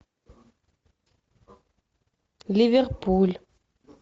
ливерпуль